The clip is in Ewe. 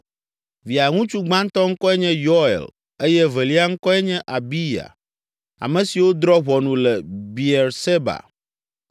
Via ŋutsu gbãtɔ ŋkɔe nye Yoel eye evelia ŋkɔe nye Abiya ame siwo drɔ̃ ʋɔnu le Beerseba.